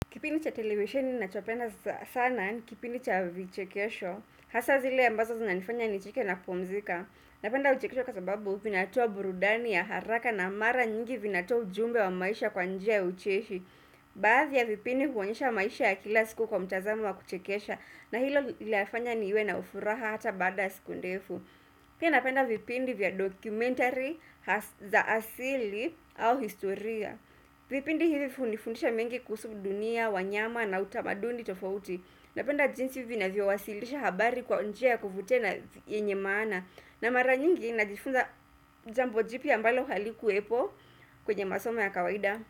Kipindi cha televisheni ninachopenda sana, ni kipindi cha vichekesho, hasa zile ambazo zinanifanya nicheke na kumzika. Napenda vichekesho kwa sababu, vinatoa burudani ya haraka na mara nyingi vinatoa ujumbe wa maisha kwa njia ya ucheshi. Baadhi ya vipindi huonyesha maisha ya kila siku kwa mtazamo wa kuchekesha na hilo linafanya niwe na furaha hata baada siku ndefu. Pia napenda vipindi vya dokumentari za asili au historia. Vipindi hivi hunifundisha mengi kuhusu dunia, wanyama na utamaduni tofauti Napenda jinsi vinavyo wasilisha habari kwa njia kuvutia na yenye maana na mara nyingi najifunza jambo jipya ambalo halikuwepo kwenye masomo ya kawaida.